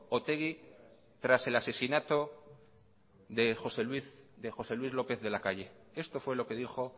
otegi tras el asesinato de josé luis lópez de lacalle esto fue lo que dijo